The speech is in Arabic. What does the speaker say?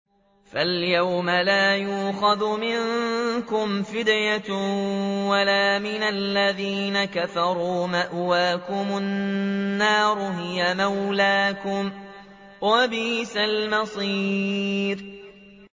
فَالْيَوْمَ لَا يُؤْخَذُ مِنكُمْ فِدْيَةٌ وَلَا مِنَ الَّذِينَ كَفَرُوا ۚ مَأْوَاكُمُ النَّارُ ۖ هِيَ مَوْلَاكُمْ ۖ وَبِئْسَ الْمَصِيرُ